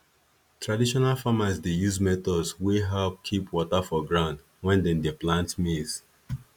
traditional farmers dey use methods wey help keep water for ground when dem dey plant maize